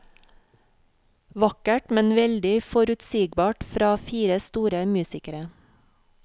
Vakkert, men veldig forutsigbart fra fire store musikere.